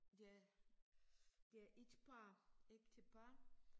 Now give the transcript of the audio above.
Det er det er et par ægtepar